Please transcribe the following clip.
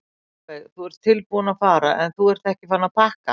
Sólveig: Þú ert tilbúinn að fara en þú ert ekki farinn að pakka?